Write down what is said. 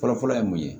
Fɔlɔfɔlɔ ye mun ye